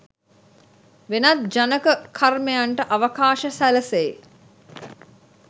වෙනත් ජනක කර්මයන්ට අවකාශ සැලසෙයි.